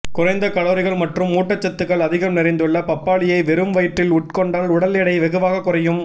குறைந்த கலோரிகள் மற்றும் ஊட்டச்சத்துக்கள் அதிகம் நிறைந்துள்ள பப்பாளியை வெறும் வயிற்றில் உட்கொண்டால் உடல் எடை வெகுவாக குறையும்